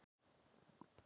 föstudagur